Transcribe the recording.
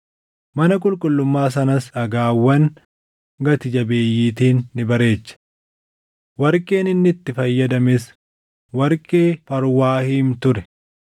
Mana qulqullummaa sanas dhagaawwan gati jabeeyyiitiin ni bareeche. Warqeen inni itti fayyadames warqee Farwaayim ture.